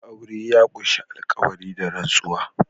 Aure ya ƙunshi alƙawari/ rantsuwa